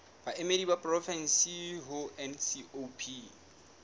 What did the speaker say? baemedi ba porofensi ho ncop